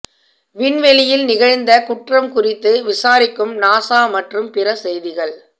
விண்வெளியில் நிகழ்ந்த குற்றம் குறித்து விசாரிக்கும் நாசா மற்றும் பிற செய்திகள்